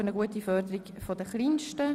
Für eine gute Förderung der Kleinsten».